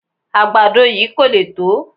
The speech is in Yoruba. Àgbàdo yìí kò le tó